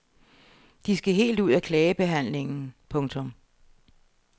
De skal helt ud af klagebehandlingen. punktum